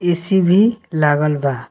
ए.सी. भी लागल बा।